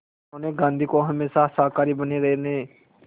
उन्होंने गांधी को हमेशा शाकाहारी बने रहने